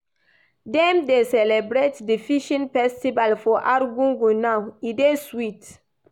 Dem dey celebrate di fishing festival for Argungu now, e dey sweet.